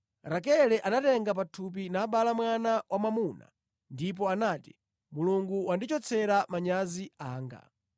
Rakele anatenga pathupi nabala mwana wamwamuna ndipo anati, “Mulungu wandichotsera manyazi anga.”